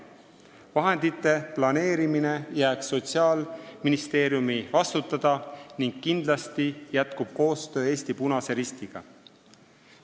Vahendite planeerimine jääb Sotsiaalministeeriumi vastutada ning kindlasti koostöö Eesti Punase Ristiga jätkub.